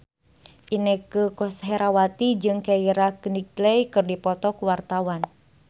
Inneke Koesherawati jeung Keira Knightley keur dipoto ku wartawan